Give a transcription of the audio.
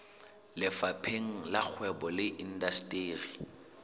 lefapheng la kgwebo le indasteri